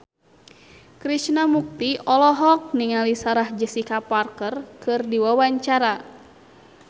Krishna Mukti olohok ningali Sarah Jessica Parker keur diwawancara